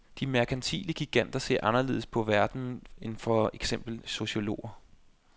De merkantile giganter ser anderledes på verden end for eksempel sociologer.